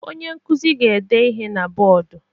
Onye nkuzi ga-ede ihe na bọọdụ.